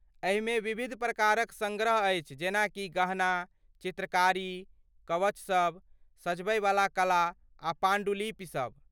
एहिमे विविध प्रकारक सङ्ग्रह अछि जेना कि गहना, चित्रकारी, कवचसभ, सजबयवला कला, आ पाण्डुलिपि सब ।